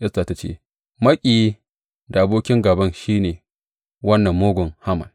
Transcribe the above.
Esta ta ce, Maƙiyi da abokin gāban, shi ne wannan mugun Haman.